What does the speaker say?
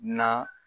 Na